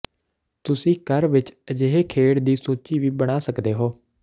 ਤੁਸੀਂ ਘਰ ਵਿਚ ਅਜਿਹੀ ਖੇਡ ਦੀ ਸੂਚੀ ਵੀ ਬਣਾ ਸਕਦੇ ਹੋ